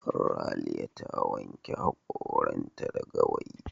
Raliya ta wanke hakoranta da gawayi.